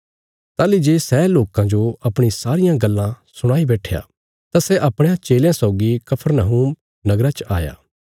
ताहली जे सै लोकां जो अपणी सारियां गल्लां सुणाई बैट्ठया तां सै अपणयां चेलयां सौगी कफरनहूम नगरा च आया